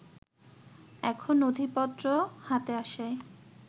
এখন নথিপত্র হাতে আসায়